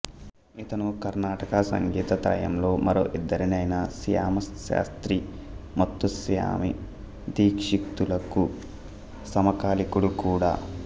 ఇతను కర్ణాటక సంగీత త్రయంలో మరో ఇద్దరైన శ్యామశాస్త్రి ముత్తుస్వామి దీక్షితులకు సమకాలికుడు కూడా